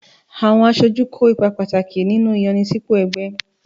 Àwọn aṣojú kó ipa pàtàkì nínú ìyànsípò ẹgbẹ́.